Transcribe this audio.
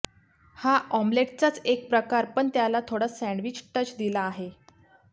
हा ऑम्लेटचाच एक प्रकार पण त्याला थोडा सॅण्डवीज टच दिला आहे